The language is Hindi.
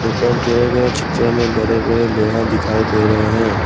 ऊपर दिए गए चित्र में बड़े बड़े लोहा दिखाई दे रहे हैं।